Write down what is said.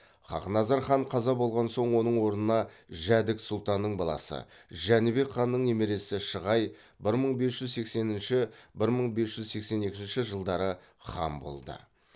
хақназар хан қаза болған соң оның орнына жәдік сұлтанның баласы жәнібек ханның немересі шығай бір мың бес жүз сексенінші бір мың бес жүз сексен екінші жылдары хан болды